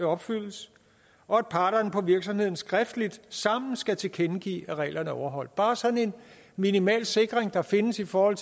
opfyldes og at parterne på virksomheden skriftligt sammen skal tilkendegive at reglerne er overholdt bare sådan en minimal sikring der findes i forhold